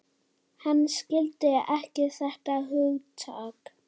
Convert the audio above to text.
Hann skildi ekki þetta hugtak.